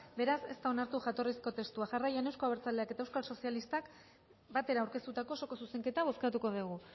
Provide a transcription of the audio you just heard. beraz ez da onartu jatorrizko testua jarraian euzko abertzaleak eta euskal sozialistak batera aurkeztutako osoko zuzenketa bozkatuko dugu